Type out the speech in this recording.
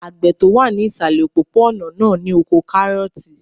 Àgbẹ̀ tó wà ní ìsàlẹ̀ òpópó-ònà náà ní oko kárọ̀ọ̀tì